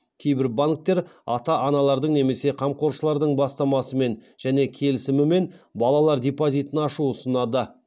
кейбір банктер ата аналардың немесе қамқоршылардың бастамасымен және келісімімен балалар депозитін ашу ұсынады